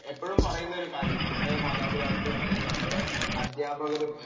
എപ്പോഴും പറയുന്ന ഒരു കാര്യം നമ്മുടെ മാതാപിതാക്കളും നമ്മുടെ അധ്യാപകരും